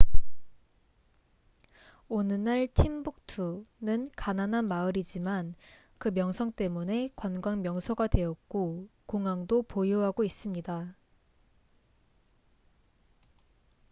오늘날 팀북투timbuktu는 가난한 마을이지만 그 명성 때문에 관광 명소가 되었고 공항도 보유하고 있습니다